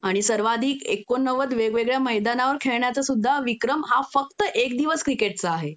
आणि सर्वाधिक एक्कोनवद वेगवेगळ्या मैदानावर खेळण्याचा सुद्धा विक्रम हा फक्त एक दिवस क्रिकेटचा आहे